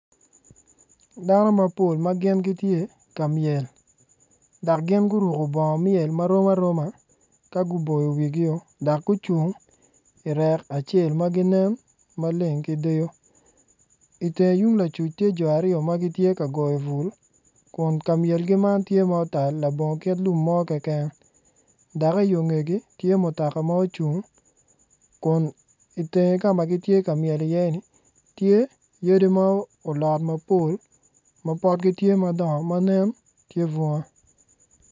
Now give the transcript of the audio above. Dano mapol ma gi n gitye ka myel dok gin guruko bongo myel ma rom aroma ka guboyo wigio dok gucung irek acel ma ginen maleng ki deyo itenge tung lacuc tye jo aryo ma gitye ka goyo bul kun ka myelgi man tye ma otal labongo kit lum mo keken dok iyo ngegi tye mutoka ma ocung kun itenge ka ma gitye ka myel iye-ni, tye yadi ma olot mapol ma potgi tye madongo ma nen tye bunga.